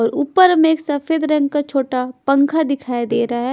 और ऊपर में एक सफेद रंग का छोटा पंखा दिखाया दे रहा है।